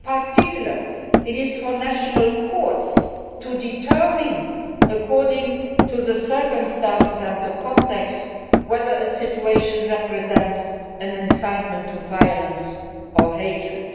In particular, it is for national courts to determine, according to the circumstances and context, whether a situation represents an incitement to violence or hatred.